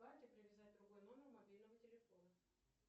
к карте привязать другой номер мобильного телефона